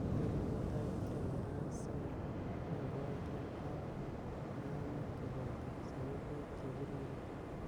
Eng nebo tai, kokiam karasaik ab Wagyu ak Boranik koboto sabibuk chebiriren .